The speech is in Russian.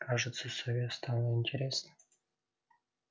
кажется сове стало интересно